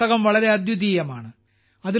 ഈ പുസ്തകം വളരെ അദ്വിതീയമാണ്